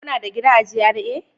Kuna da gida a GRA?